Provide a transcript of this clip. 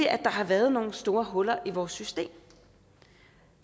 at der har været nogle store huller i vores system